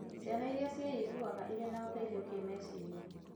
Ciana iria ciĩiguaga irĩ na ũteithio kĩmeciria